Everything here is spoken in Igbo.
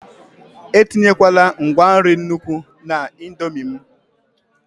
etinyekwala ngwa nri n'nukwu na indomie m!